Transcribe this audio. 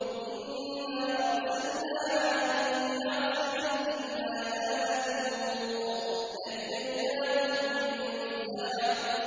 إِنَّا أَرْسَلْنَا عَلَيْهِمْ حَاصِبًا إِلَّا آلَ لُوطٍ ۖ نَّجَّيْنَاهُم بِسَحَرٍ